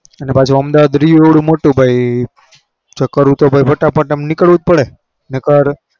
અને પાછું અમદાવાદ રહ્યું એવડું મોટું ભાઈ. ચકરૂ તો ભાઈ ફટાફટ આમ નીકળવું જ પડે નકર